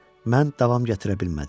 Mən davam gətirə bilmədim.